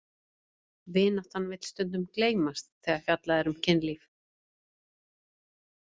Vináttan vill stundum gleymast þegar fjallað er um kynlíf.